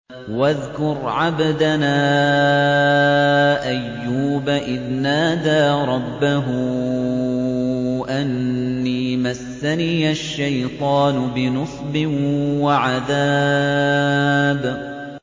وَاذْكُرْ عَبْدَنَا أَيُّوبَ إِذْ نَادَىٰ رَبَّهُ أَنِّي مَسَّنِيَ الشَّيْطَانُ بِنُصْبٍ وَعَذَابٍ